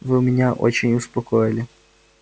вы меня очень успокоили